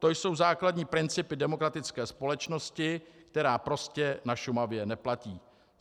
To jsou základní principy demokratické společnosti, která prostě na Šumavě neplatí.